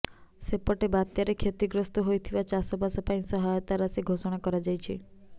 ସେପଟେ ବାତ୍ୟାରେ କ୍ଷତିଗ୍ରସ୍ତ ହୋଇଥିବା ଚାଷବାସ ପାଇଁ ସହାୟତା ରାଶି ଘୋଷଣା କରାଯାଇଛି